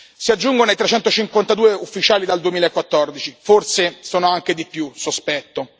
Si aggiungono ai 352 ufficiali dal 2014, forse sono anche di più, sospetto.